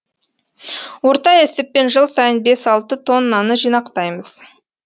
орта есеппен жыл сайын бес алты тоннаны жинақтаймыз